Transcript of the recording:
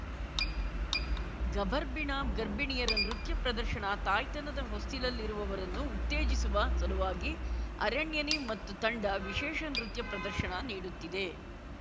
ಗಭರ್ಭಿಣ ಗರ್ಭಿಣಿಯರ ನೃತ್ಯ ಪ್ರದರ್ಶನ ತಾಯ್ತನದ ಹೊಸ್ತಿಲಲ್ಲಿರುವವರನ್ನು ಉತ್ತೇಜಿಸುವ ಸಲುವಾಗಿ ಅರಣ್ಯನಿ ಮತ್ತು ತಂಡ ವಿಶೇಷ ನೃತ್ಯ ಪ್ರದರ್ಶನ ನೀಡುತ್ತಿದೆ